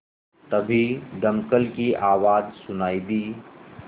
तभी दमकल की आवाज़ सुनाई दी